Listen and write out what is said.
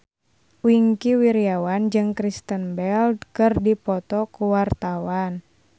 Wingky Wiryawan jeung Kristen Bell keur dipoto ku wartawan